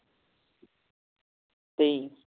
ਤੇ